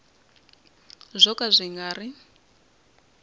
byo ka byi nga ri